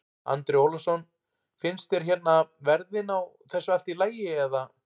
Andri Ólafsson: Finnst þér hérna verðin á þessu allt í lagi eða?